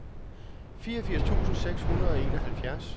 fireogfirs tusind seks hundrede og enoghalvfjerds